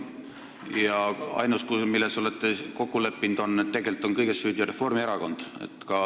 Ja ainus, milles te olete kokku leppinud, on see, et tegelikult on kõiges süüdi Reformierakond.